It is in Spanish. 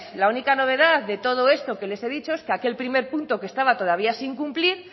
la única novedad de todo esto que les he dicho es que aquel primer punto que estaba todavía sin cumplir